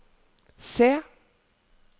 C